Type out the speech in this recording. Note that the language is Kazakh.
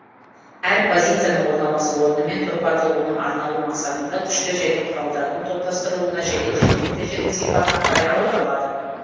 әр позицияның орналасу орны мен тұрпаты оның арналу мақсатына күштер мен құралдардың топтастырылуына және жергілікті жердің сипатына қарай анықталады